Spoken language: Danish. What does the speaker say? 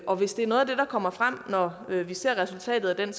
og hvis det er noget af det der kommer frem når vi ser resultatet af